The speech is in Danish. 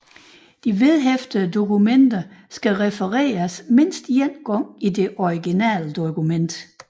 Vedhæftede dokumenter skal refereres mindst én gang i det originale dokument